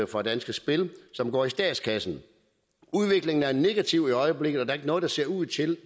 fra danske spil som går i statskassen udviklingen er negativ i øjeblikket og der er ikke noget der ser ud til